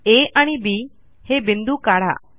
आ आणि बी हे बिंदू काढा